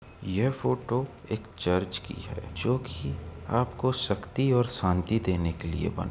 यह फोटो एक चर्च की है जोकि आपको शक्ति और शांति देने के लिए बना --